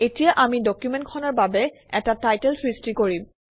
এতিয়া আমি ডকুমেণ্টখনৰ বাবে এটা টাইটেল সৃষ্টি কৰিম